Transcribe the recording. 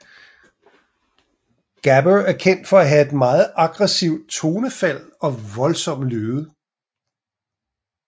Gabber er kendt for at have et meget aggresivt tonefald og voldsomme lyde